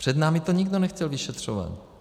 Před námi to nikdo nechtěl vyšetřovat.